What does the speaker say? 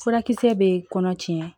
Furakisɛ bɛ kɔnɔ tiɲɛ